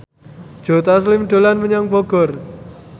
Joe Taslim dolan menyang Bogor